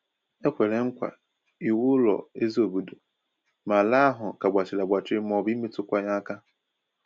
E kwèrè nkwa iwu ụlọ ezí obodo, ma ala ahụ ka gbachiri agbachi maọbụ imetụ kwa ya aka